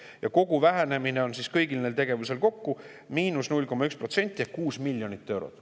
Ja kogu vähenemine on kõigil neil tegevustel kokku 0,1% ehk 6 miljonit eurot.